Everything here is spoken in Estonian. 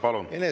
Palun!